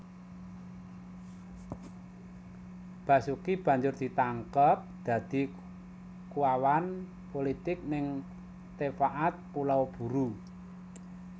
Basuki banjur ditangkep dadi kuwawan pulitik ning Tefaat Pulau Buru